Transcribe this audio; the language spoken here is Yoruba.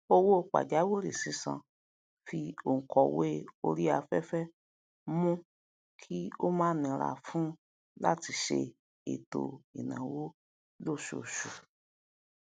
owó pajawiri sisan fi onkòwe orí aféfé mu kí o ma nira fún lati le se ètò ìnáwó losoosu